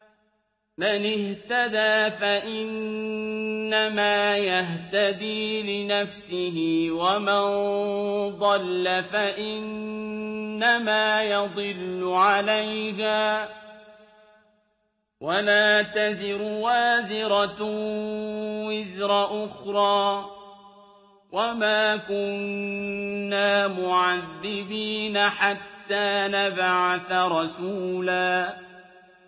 مَّنِ اهْتَدَىٰ فَإِنَّمَا يَهْتَدِي لِنَفْسِهِ ۖ وَمَن ضَلَّ فَإِنَّمَا يَضِلُّ عَلَيْهَا ۚ وَلَا تَزِرُ وَازِرَةٌ وِزْرَ أُخْرَىٰ ۗ وَمَا كُنَّا مُعَذِّبِينَ حَتَّىٰ نَبْعَثَ رَسُولًا